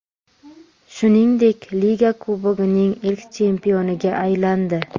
Shuningdek, Liga Kubogining ilk chempioniga aylandi.